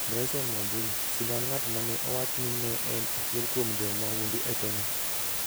Bryson Mwamburi: Sigand ng'at ma ne owach ni ne en achiel kuom jo mahundu e Kenya